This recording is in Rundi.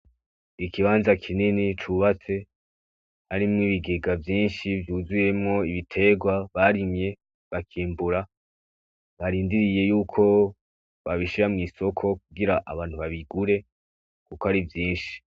Ikibanza kinini cubatse, harimwo ibigega vyinshi vyuzuyemwo ibiterwa barimye bakimbura, barindiriye yuko babishira mw'isoko kugira abantu babigure kuko ari vyinshi.